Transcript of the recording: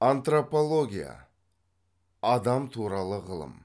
антропология адам туралы ғылым